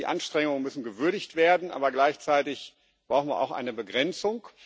Die Anstrengungen müssen gewürdigt werden, aber gleichzeitig brauchen wir auch eine Begrenzung.